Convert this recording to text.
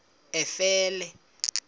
efele